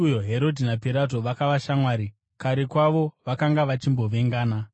Musi uyo, Herodhi naPirato vakava shamwari, kare kwavo, vakanga vachimbovengana.